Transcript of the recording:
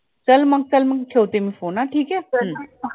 चल मग चल मग ठेवते मी phone हा ठीक ये चल